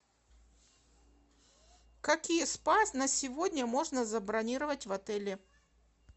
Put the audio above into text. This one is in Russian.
какие спа на сегодня можно забронировать в отеле